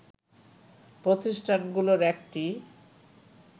প্রতিষ্ঠানগুলোর একটি